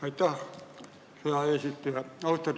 Aitäh, hea eesistuja!